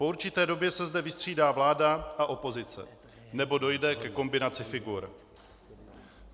Po určité době se zde vystřídá vláda a opozice, nebo dojde ke kombinaci figur.